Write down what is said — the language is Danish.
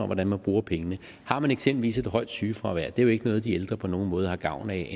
hvordan man bruger pengene har man eksempelvis et højt sygefravær er det jo ikke noget de ældre på nogen måde har gavn af